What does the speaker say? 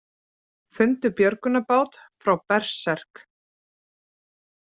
Fundu björgunarbát frá Berserk